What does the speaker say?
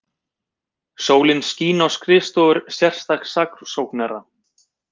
Sólin skín á skrifstofur sérstaks saksóknara